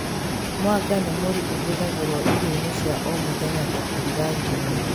Mwanga nĩ mũri ũhathagĩrwo irio-inĩ cia o mũthenya ta kũruga ngima